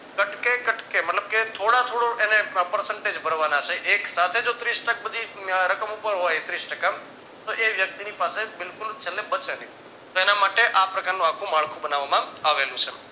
કટકે કટકે મતલબ કે થોડા થોડું એને percentage ભરવાના છે એક સાથે જો ત્રીસ ટકા બધી રકમ ઉપર હોય ત્રીશ ટકા તોએ વ્યક્તિની પાસે બિલકુલ છેલ્લે બચે નહિ તો એના માટે આ પ્રકારનો આખું માળખું બનાવવામાં આવેલું છે.